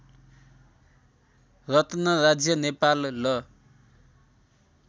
रत्न राज्य नेपाल ल